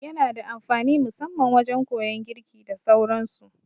Yana da amfani musamman wajan koyan girki da sauran su